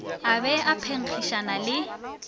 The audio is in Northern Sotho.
a be a phenkgišana le